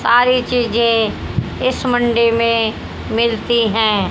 सारी चीजें इस मंडी में मिलती हैं।